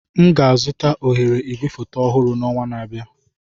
M ga-azụta oghere igwefoto ọhụrụ n'ọnwa na-abịa.